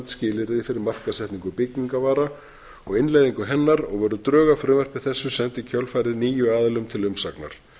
skilyrði fyrir markaðssetningu byggingarvara og innleiðingu hennar voru drög að frumvarpi þessu send í kjölfarið níu aðilum til umsagnar